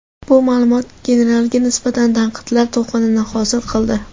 Bu ma’lumot generalga nisbatan tanqidlar to‘lqinini hosil qildi.